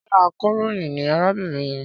Ṣé akọ̀ròyìn ni arábìnrin yẹn?